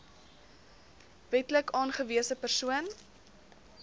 wetlik aangewese persoon